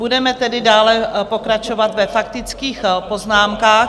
Budeme tedy dále pokračovat ve faktických poznámkách.